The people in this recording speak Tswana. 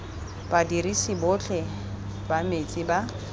badirisi botlhe ba metsi ba